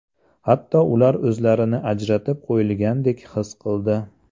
Hatto ular o‘zlarini ajratib qo‘yilgandek his qildi.